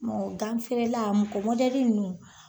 Gan feerela mɔgɔ nunnu